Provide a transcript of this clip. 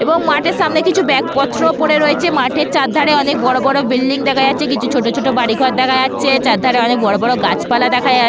এবং মাঠের সামনে কিছু ব্যাগ পত্রও পড়ে রয়েছে মাঠের চার ধারে অনেক বড় বড় বিল্ডিং দেখা যাচ্ছে কিছু ছোট ছোট বাড়ি ঘর দেখা যাচ্ছে চার ধারে অনেক বড় বড় গাছপালা দেখা যাচ--